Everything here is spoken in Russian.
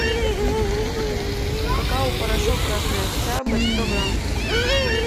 какао порошок красный октябрь сто грамм